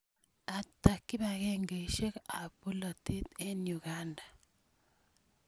Ata kipakengeisyek ap polotet eng' Uganda?